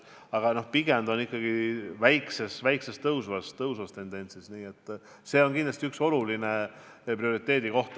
Aga pigem on see ikkagi veidi tõusvas trendis, nii et see on kindlasti üks oluline prioriteedikoht.